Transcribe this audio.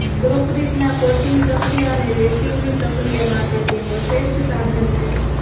કોંક્રિટના coating પ્રક્રિયા અને રેતીની પ્રક્રિયા માટે તેઓ શ્રેષ્ઠ સાધન છે